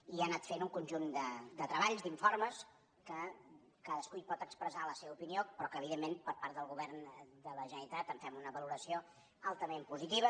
i ha anat fent un conjunt de treballs d’informes que cadascú hi pot expressar la seva opinió però que evidentment per part del govern de la generalitat en fem una valoració altament positiva